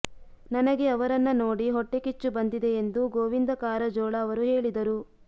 ನನಗೆ ಅವರನ್ನ ನೋಡಿ ಹೊಟ್ಟೆ ಕಿಚ್ಚು ಬಂದಿದೆ ಎಂದು ಗೋವಿಂದ ಕಾರಜೋಳ ಅವರು ಹೇಳಿದರು